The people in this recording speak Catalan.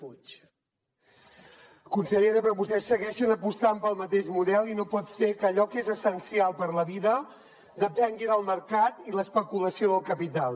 consellera però vostès segueixen apostant pel mateix model i no pot ser que allò que és essencial per a la vida depengui del mercat i l’especulació del capital